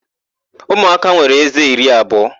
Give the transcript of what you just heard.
Umụaka nwere ézé iri abụọ.